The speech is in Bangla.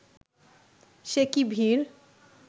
সে কী ভিড়